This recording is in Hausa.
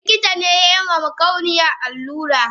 Likitane yama makauniyan allura